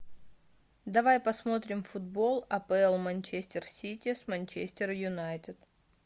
давай посмотрим футбол апл манчестер сити с манчестер юнайтед